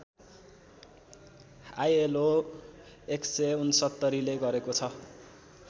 ILO १६९ ले गरेको छ